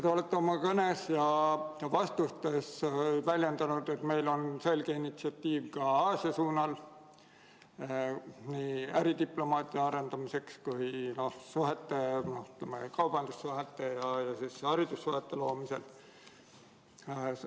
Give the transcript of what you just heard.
Te olete oma kõnes ja vastustes väljendanud, et meil on selge initsiatiiv ka Aasia suunal, nii äridiplomaatia arendamiseks kui ka kaubandussuhete ja haridussuhete loomisel.